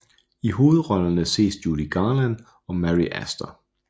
I hovedrollerne ses Judy Garland og Mary Astor